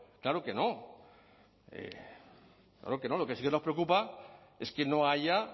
claro que no lo que sí que nos preocupa es que no haya